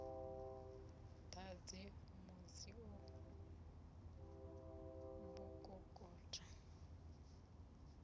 ḓadzi mudzio b u kokota